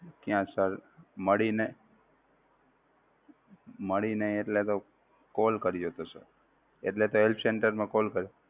ત્યાં sir મળી નહીં, મળી નહીં એટલે તો call કર્યો હતો sir એટલે તો help center માં call કર્યો.